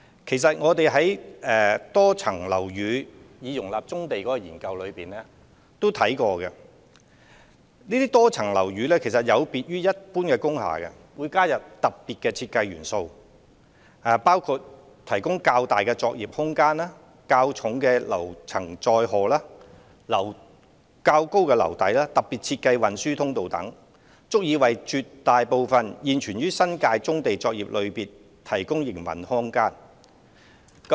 其實，我們在以多層樓宇容納棕地作業的研究中曾作出探討，得悉這些多層樓宇有別於一般工廈，會加入特別的設計元素，包括提供較大作業空間、較重樓層載荷、較高樓底、特別設計運輸通道等，足以為絕大部分現有新界棕地作業類別提供營運空間。